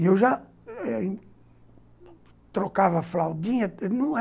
E eu já eh trocava fraldinha.